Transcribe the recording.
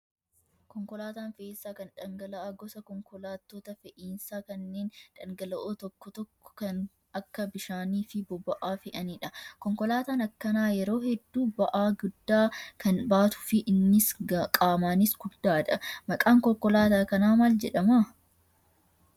Konkolaataan fe'iisaa kan dhangala'aa gosa konkolaattota fe'iisaa kanneen dhangal'oo tokko tokko kan akka bishaanii fi boba'aa fe'anidha. Konkolaataan akkanaa yeroo hedduu ba'aa guddaa kan baatuu fi innis qaamaanis guddaadha. Maqaan konkolaataa kanaa maal jedhama?